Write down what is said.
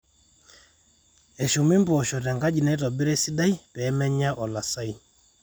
eshumi impoosho tenkaji naitobira esidai pee menya olasai